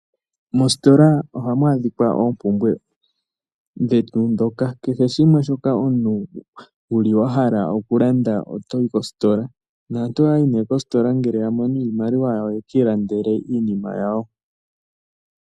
Mositola ohamu adhika oompumbwe dhetu ndhoka twa pumbwa okulanda. Aantu ohaya yi koositola uuna ya mono iimaliwa opo ye ki ilandele iinima yawo.